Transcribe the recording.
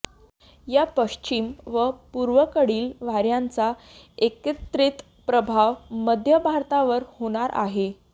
या पश्चिम व पूर्वेकडील वाऱ्यांचा एकत्रित प्रभाव मध्य भारतावर होणार आहे